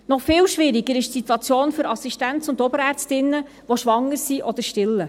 Noch viel schwieriger ist die Situation für Assistenz- und Oberärztinnen, die schwanger sind oder stillen.